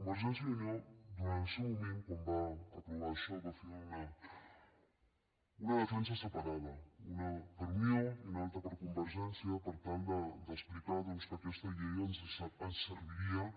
convergència i unió durant el seu moment quan va aprovar això va fer una defensa separada per unió i una altra per convergència per tal d’explicar doncs que aquesta llei ens serviria